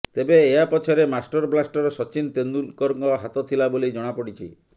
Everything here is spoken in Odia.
ତେବେ ଏହା ପଛରେ ମାଷ୍ଟର ବ୍ଲାଷ୍ଟର ସଚିନ ତେନ୍ଦୁଲକରଙ୍କ ହାତ ଥିଲା ବୋଲି ଜଣାପଡ଼ିଛି